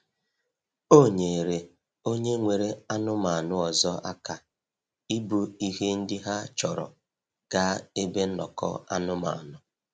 O nyeere onye nwere anụmanụ ọzọ aka ibu ihe ndị ha chọrọ gaa ebe nnọkọ anụmanụ.